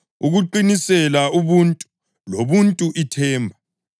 ukuqinisela, ubuntu; lobuntu, ithemba.